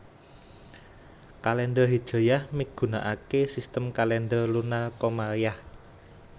Kalèndher Hijriyah migunakaké sistem kalèndher lunar komariyah